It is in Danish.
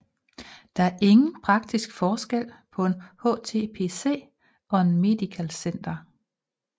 Der er ingen praktisk forskel på en HTPC og et Mediacenter